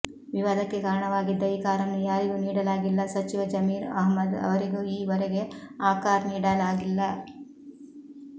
ವಿವಾದಕ್ಕೆ ಕಾರಣವಾಗಿದ್ದ ಈ ಕಾರನ್ನು ಯಾರಿಗೂ ನೀಡಲಾಗಿಲ್ಲ ಸಚಿವ ಜಮೀರ್ ಅಹಮದ್ ಅವರಿಗೂ ಈ ವರೆಗೆ ಆ ಕಾರ್ ನೀಡಲಾಗಿಲ್ಲ